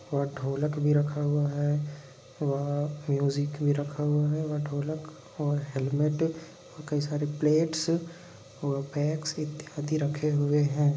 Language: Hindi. वहाँ ढोलक भी रखा हुआ है वहाँ म्यूजिक भी रखा हुआ है और ढोलक और हैलमेट और कई सारी प्लेट्स और बैग्स इत्यादि रखे हुए है।